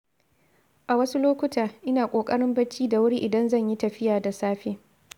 A wasu lokuta, ina ƙoƙarin bacci da wuri idan zan yi tafiya da safe.